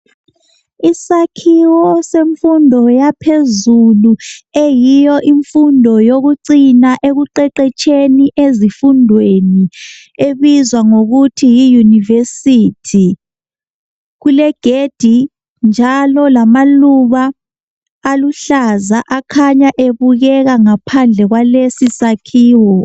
Isakhiwo semfundo yaphezulu eyiyo imfundo yokucina ekuqeqetsheni ezifundweni ebizwa ngokuthi yiyunivesithi kulegedi njalo kukegedi lamaluba aluhlaza akhanya ebukeka ngaphandle kwalesi sakhiwo.